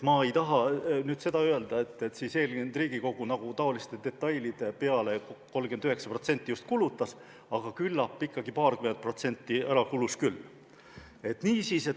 Ma ei taha öelda, et eelmine Riigikogu taoliste detailide peale just 39% aega kulutas, aga küllap ikkagi paarkümmend protsenti kulus ära küll.